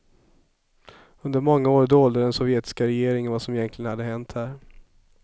Under många år dolde den sovjetiska regeringen vad som egentligen hade hänt här.